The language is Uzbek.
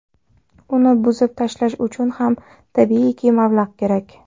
Uni buzib tashlash uchun ham tabiiyki, mablag‘ kerak.